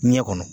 Ɲɛ kɔnɔ